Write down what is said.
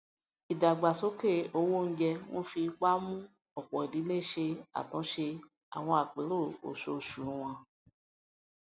ìdàgbàsókè owó oúnjẹ ń fi ipa mú ọpọ idílé ṣe àtúnṣe àwọn àpérò oṣooṣu wọn